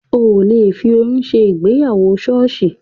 Ò le fi oyún ṣe ìgbéyàwó ṣọ́ọ̀ṣì